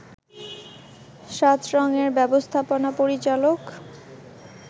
৭রংয়ের ব্যবস্থাপনা পরিচালক